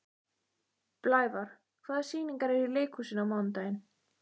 Blævar, hvaða sýningar eru í leikhúsinu á mánudaginn?